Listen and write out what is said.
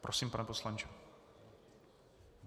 Prosím, pane poslanče.